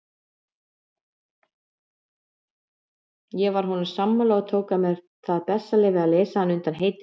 Ég var honum sammála og tók mér það bessaleyfi að leysa hann undan heitinu.